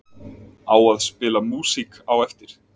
Á að spila músík á eftir?